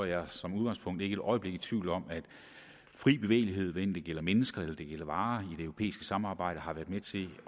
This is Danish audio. jeg som udgangspunkt ikke et øjeblik i tvivl om at fri bevægelighed hvad enten det gælder mennesker eller varer i det europæiske samarbejde har været med til